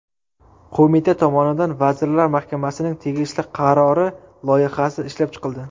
Qo‘mita tomonidan Vazirlar Mahkamasining tegishli qarori loyihasi ishlab chiqildi.